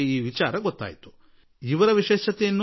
ಮೊಹಮ್ಮದ್ ಶಫಿಯವರ ವಿಶೇಷತೆ ನೋಡಿ